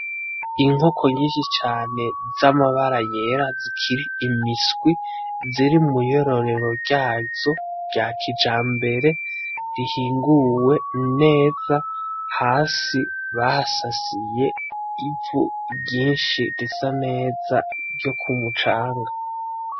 Inkoko nyinshi cane z'amabara yera zikiri imiswi ziri mw'iyororero ryazo rya kijambere rihinguwe neza, hasi bahasasiye ivu ryinshi risa neza ryo ku mucanga.